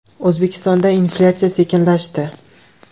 O‘zbekistonda inflyatsiya sekinlashdi.